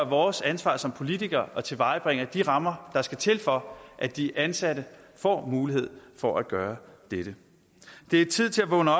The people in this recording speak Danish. vores ansvar som politikere at tilvejebringe de rammer der skal til for at de ansatte får mulighed for at gøre dette det er tid til at vågne